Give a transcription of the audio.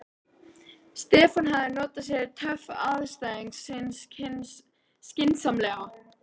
Stefán hafði notað sér töf andstæðings síns skynsamlega.